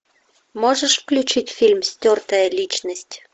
можешь включить фильм стертая личность